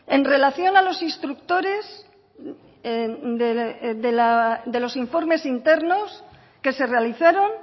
en relación a los instructores de los informes internos que se realizaron